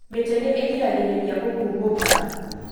Mĩtĩ nĩ ĩgĩragĩrĩria gũkubũka